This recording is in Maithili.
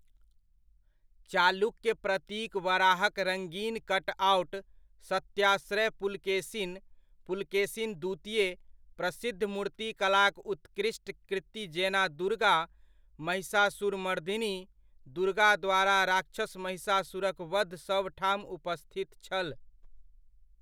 चालुक्य प्रतीक वराहक रङ्गीन कटआउट, सत्याश्रय पुलकेशिन, पुलकेशिन द्वितीय, प्रसिद्ध मूर्तिकलाक उत्कृष्ट कृति जेना दुर्गा, महिषासुरमर्धिनी, दुर्गा द्वारा राक्षस महिषासुरक वध सभठाम उपस्थित छल।